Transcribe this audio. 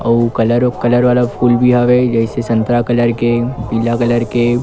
अऊ कलर अउ कलर वाला फूल हवय जइसे संतरा कलर के पीला कलर के--